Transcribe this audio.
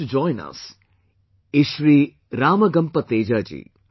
to join us is Shri RamagampaTeja Ji